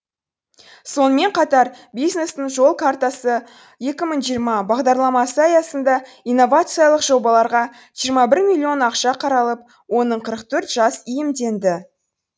сонымен қатар бизнестің жол картасы екі мың жиырма бағдарламасы аясында инновациялық жобаларға жиырма бір миллион ақша қаралып оның қырық төрт жас иемденді